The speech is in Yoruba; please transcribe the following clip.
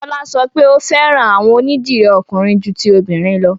Fọla sọ pé o fẹ́ran awọn onídírí ọ̀kùnrin jù tí obìnrin lọ̀.